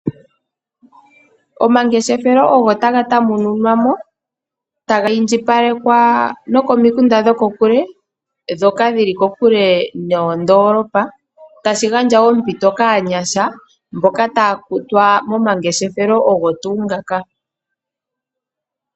Omangeshefelo ogo taga tamununwa mo taga indjipalekwa nokomikunda dhokokule ndhoka dhili kokule noondoolopa tashi gandja ompito kaanyasha mboka taya kutwa momangeshefelo ogo tuu ngoka.